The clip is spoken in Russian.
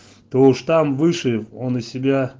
то уж там выше он у себя